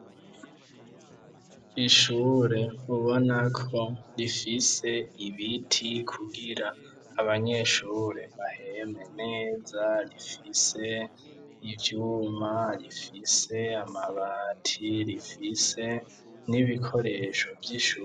Ishure ubona ko rifise ibiti kugira abanyeshure baheme neza, rifise ivyuma, rifise amabati, rifise n'ibikoresho vy'ishure.